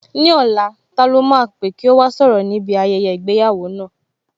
Ní ọ̀la, ta lọ́ máa pè kí ó wá sọ̀rọ̀ níbi ayẹyẹ ìgbéyàwó náà?